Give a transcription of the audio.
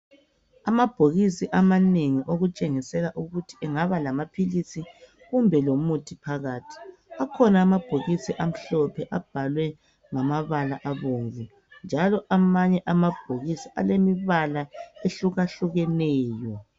Amabhokisi amanengi okutshengisela ukuthi engaba lamaphilisi kumbe lomuthi phakathi. Akhona amabhokisi amhlophe abhalwe ngamabala obomvu njalo amanye amabhokisi alemibala ehlukahlukeneyo.